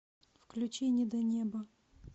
включи недонебо